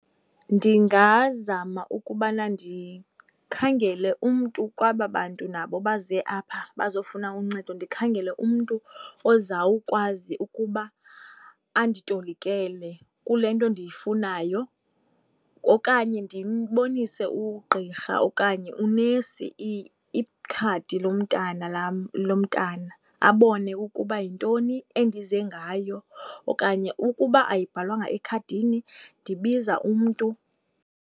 Ndingazama ukubana ndikhangele umntu kwaba bantu nabo baze apha bazofuna uncedo, ndikhangele umntu ozawukwazi ukuba anditolikele kule nto ndiyifunayo Okanye ndibonise ugqirha okanye unesi ikhadi lomntana lam, lomntana, abone ukuba yintoni endize ngayo. Okanye ukuba ayibhalwanga ekhadini ndibiza umntu.